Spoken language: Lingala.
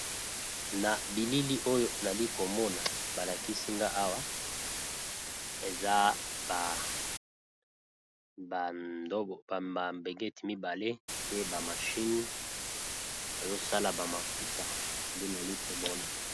Na bilili oyo nali komona balakisi nga awa eza ba mambengeti mibale pe ba mashine bazosala ba mafuta nde nali komona.